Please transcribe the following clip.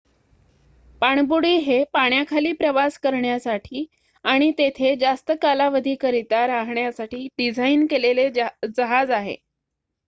पाणबुडी हे पाण्याखाली प्रवास करण्यासाठी आणि तेथे जास्त कालावधीकरिता राहण्यासाठी डिझाईन केलेले जहाज आहे